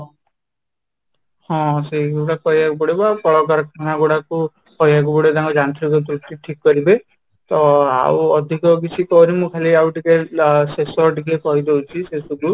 ହଁ, ସେଇଗୁଡ଼ା କହିବାକୁ ପଡିବ ଆଉ କଳକାରଖାନା ଗୁଡାକୁ କହିବାକୁ ପଡିବ ତାଙ୍କର ଯାନ୍ତ୍ରିକ ତ୍ରୁଟି ଠିକ କରିବେ ତ ଆଉ ଅଧିକ କିଛି କରିନୁ ଖାଲି ଆଉ ଟିକେ ଶେଷ ଟିକେ କହିଦଉଛି ଶେଷ କୁ